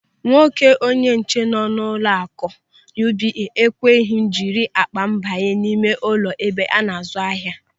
Nwoke onyenche nọ n'ụlọaku UBA ekweghị m jiri akpa m banye n'ime ụlọ ebe ana-azụ ahịa.